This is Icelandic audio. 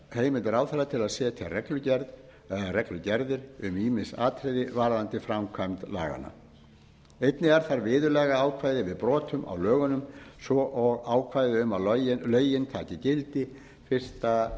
heimild ráðherra til að setja reglugerð eða reglugerðir um ýmis atriði varðandi framkvæmd laganna einnig er þar viðurlagaákvæði við brotum á lögunum svo og ákvæði um að lögin taki gildi fyrsta